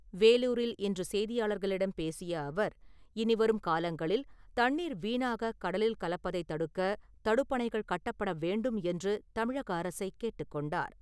வேலூரில் இன்று செய்தியாளர்களிடம் பேசிய அவர் , இனிவரும் காலங்களில் தண்ணீர் வீணாக கடலில் கலப்பதை தடுக்க , தடுப்பணைகள் கட்டப்பட வேண்டும் என்று தமிழக அரசை கேட்டுக்கொண்டார் .